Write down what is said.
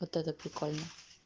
вот это прикольно